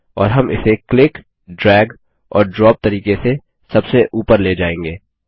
और हम इसे क्लिक ड्रैग और ड्रॉप तरीके से सबसे ऊपर ले जाएँगे